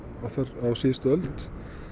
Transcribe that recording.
á síðustu öld